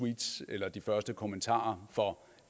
tweets eller de første kommentarer for